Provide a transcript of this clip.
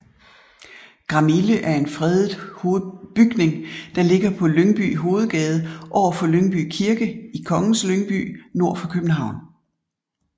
Gramille er en fredet bygning der ligger på Lyngby Hovedgade overfor Lyngby Kirke i Kongens Lyngby nord for København